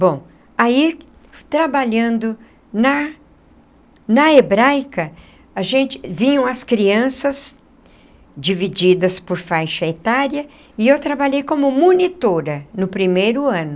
Bom, aí trabalhando na na Hebraica a gente, vinham as crianças divididas por faixa etária, e eu trabalhei como monitora no primeiro ano.